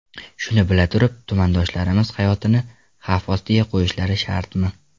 Shuni bila turib, tumandoshlarimiz hayotini xavf ostiga qo‘yishlari shartmi?